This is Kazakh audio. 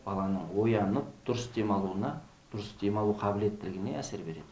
баланың оянып дұрыс демалуына дұрыс дем алу қабілеттілігіне әсер береді